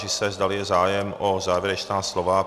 Táži se, zdali je zájem o závěrečná slova.